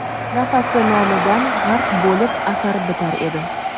nafasi nomidan g‘arq bo‘lib asar bitar edi.